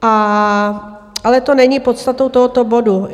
Ale to není podstatou tohoto bodu.